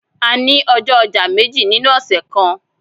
A ni ọjọ ọja meji ninu ọsẹ kan